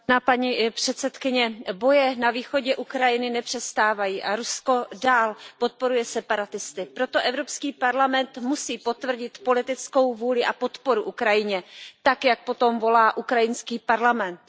Paní předsedající, boje na východě Ukrajiny nepřestávají a Rusko dál podporuje separatisty. Proto Evropský parlament musí potvrdit politickou vůli a podporu Ukrajině tak, jak po tom volá ukrajinský parlament.